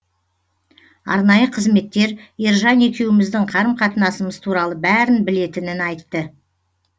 арнайы қызметтер ержан екеуміздің қарым қатынасымыз туралы бәрін білетінін айтты